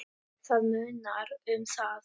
Það munar um það.